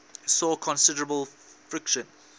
saw considerable friction